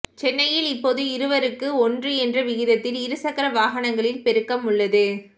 சென்னையில் இப்போது இருவருக்கு ஒன்று என்ற விகிதத்தில் இரு சக்கர வாகனங்களின் பெருக்கம் உள்ளது